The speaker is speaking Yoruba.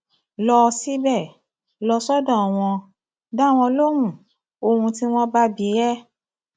lọ síbẹ lọ sọdọ wọn dá wọn lóhùn ohun tí wọn bá bi ẹ